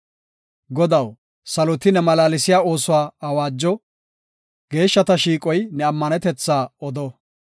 Godaw, saloti ne malaalsiya oosuwa awaajo; geeshshata shiiqoy ne ammanetetha odo.